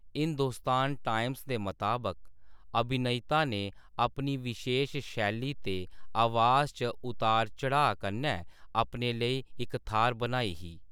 Hindustan Times दे मताबक, “अभिनेता ने अपनी विशेश शैली ते अवाज च उतार-चढ़ाऽ कन्नै अपने लेई इक थाह्‌र बनाई ही।“